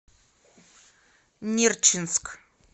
нерчинск